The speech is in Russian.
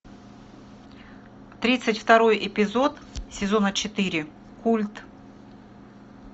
тридцать второй эпизод сезона четыре культ